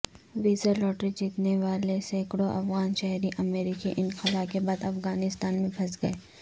visa lottery جیتنے والے سینکڑوں افغان شہری امریکی انخلا کے بعد افغانستان میں پھنس گئے